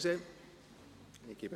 Ach so, entschuldigen Sie!